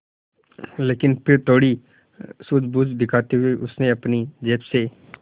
लेकिन फिर थोड़ी सूझबूझ दिखाते हुए उसने अपनी जेब से